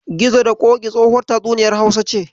Gizo da Ƙoƙi tsohuwar tatsuniyar Hausa ce.